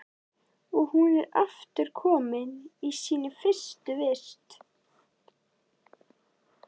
Og hún er aftur komin í sína fyrstu vist.